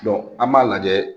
an b'a lajɛ